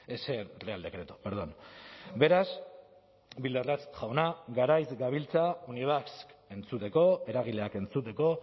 ese real decreto perdón beraz bildarratz jauna garaiz gabiltza unibasq entzuteko eragileak entzuteko